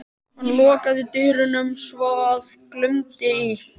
Hann lokaði dyrunum svo að glumdi í.